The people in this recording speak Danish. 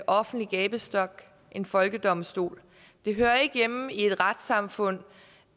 offentlig gabestok en folkedomstol det hører ikke hjemme i et retssamfund